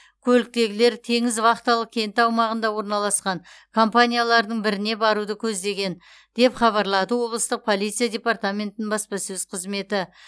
көліктегілер теңіз вахталық кенті аумағында орналасқан компаниялардың біріне баруды көздеген деп хабарлады облыстық полиция департаментінің баспасөз қызметі